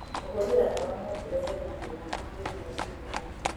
Kũhũthĩra ndawa no kũrehe mathĩĩna ma kĩmeciria.